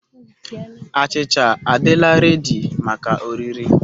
Achịcha a'dịla redi maka oriri.